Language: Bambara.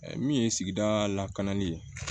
Min ye sigida lakananni ye